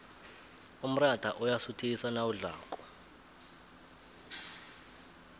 umrayha uyasuthisa nawudlako